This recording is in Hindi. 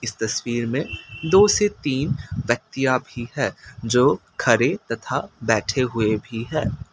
तस्वीर में दो से तीन व्यक्तियाँ भी है जो खड़े तथा बैठे हुये भी है।